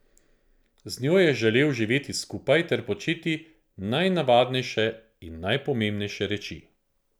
Z njo je želel živeti skupaj ter početi najnavadnejše in najpomembnejše reči.